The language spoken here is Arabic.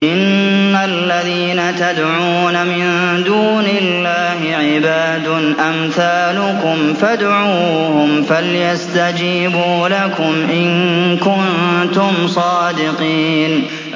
إِنَّ الَّذِينَ تَدْعُونَ مِن دُونِ اللَّهِ عِبَادٌ أَمْثَالُكُمْ ۖ فَادْعُوهُمْ فَلْيَسْتَجِيبُوا لَكُمْ إِن كُنتُمْ صَادِقِينَ